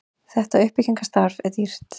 þetta uppbyggingarstarf er dýrt